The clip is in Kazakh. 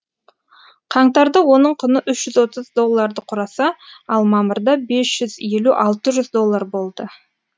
қаңтарда оның құны үш жүз отыз долларды құраса ал мамырда бес жүз елу алты жүз доллар болды